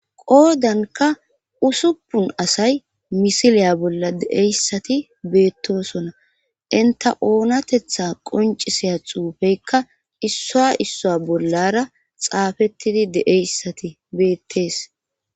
Qoodanka usuppun asay misiliya bolla deeyssati beettosona inta oonatetha qonciseya xuufeykka issoa issoa bollara xaafettidi deeyssati beettees